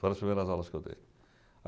Foram as primeiras aulas que eu dei.